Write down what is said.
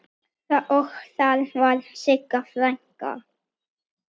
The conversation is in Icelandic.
Og þar var Sigga frænka.